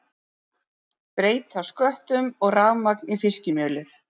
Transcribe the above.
Breyta sköttum og rafmagn í fiskimjölið